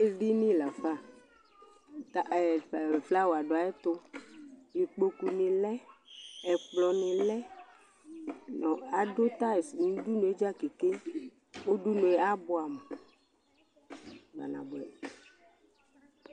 Ɛɖìní lafa Flower ɖu ayuɛtu Ikpoku ŋi lɛ Ɛkplɔ ni lɛ Aɖu tiles ŋu ʋɖʋnu dza keke Ʋɖʋnu abʋɛ amu kpa nabʋɛ !